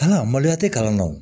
Aa maloya tɛ kalan na o